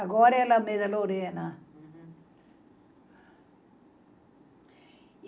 Agora é Alameda Lorena.